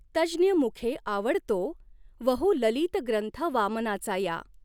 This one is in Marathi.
तज्ज्ञमुखें आवडतो वहु ललित ग्रंथ वामनाचा या